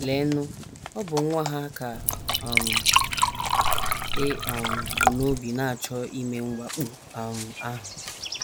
Leenụ, ọ bụ nwa ha ka um e um bu n’obi na - achọ ime mwakpo um ahụ!